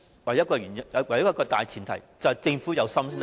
唯一一個大前提，就是政府要有心才行，......